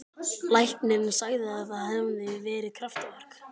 Læknirinn sagði að það hefði verið kraftaverk.